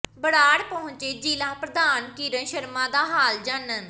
ਬਰਾੜ ਪਹੰੁਚੇ ਜ਼ਿਲ੍ਹਾ ਪ੍ਰਧਾਨ ਕਿਰਨ ਸ਼ਰਮਾ ਦਾ ਹਾਲ ਜਾਨਣ